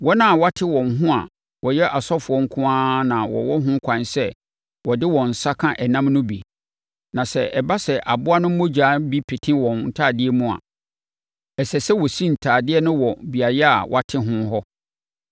Wɔn a wɔate wɔn ho a wɔyɛ asɔfoɔ nko ara na wɔwɔ ho kwan sɛ wɔde wɔn nsa ka ɛnam no bi; na sɛ ɛba sɛ aboa no mogya bi pete wɔn ntadeɛ mu a, ɛsɛ sɛ wɔsi ntadeɛ no wɔ beaeɛ a wɔate ho hɔ.